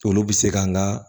Olu bɛ se kan ka